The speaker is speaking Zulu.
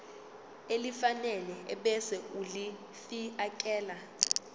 elifanele ebese ulifiakela